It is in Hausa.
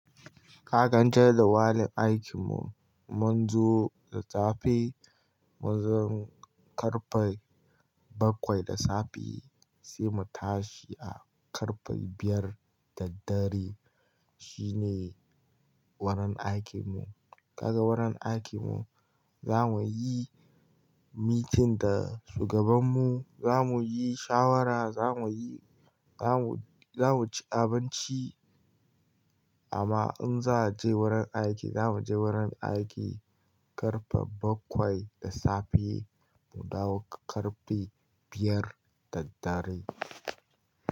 Ka gan jadawalan aikin mu, mun zo da safe, mun zo karfe bakwai da safe sai mu tashi a karfe biyar da dare. Shine wurin aikin mu. Ka ga wurin aikin mu, za mu yi meeting da shugaban mu, za mu yi shawara, za mu yi, za mu, za mu ci abinci. Amma in za a je wurin aiki, za mu je wurin aiki karfe bakwai da safe mu dawo karfe biyar da dare.